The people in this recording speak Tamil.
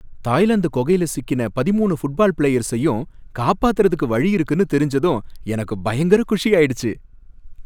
தாய்லாந்து கொகைல சிக்கின பதிமூணு ஃபுட் பால் பிளேயர்ஸையும் காப்பாத்துறதுக்கு வழி இருக்குனு தெரிஞ்சதும் எனக்கு பயங்கர குஷியாயிடுச்சு.